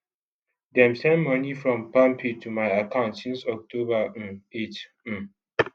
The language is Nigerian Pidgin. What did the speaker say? dem send money from palmpay to my account since october um 8 um